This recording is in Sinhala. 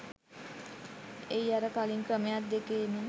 එහි අර කළින් ක්‍රමයන් දෙකේම